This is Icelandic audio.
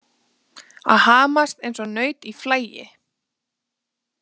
Að hamast eins og naut í flagi